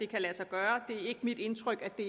kan lade sig gøre det er ikke mit indtryk at det